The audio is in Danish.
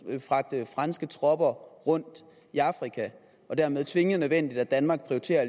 at fragte franske tropper rundt i afrika og dermed tvingende nødvendigt at danmark